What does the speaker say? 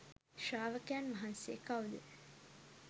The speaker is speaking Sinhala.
ශ්‍රාවකයන් වහන්සේ කවුද?